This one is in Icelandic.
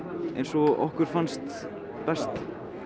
eins og okkur fannst best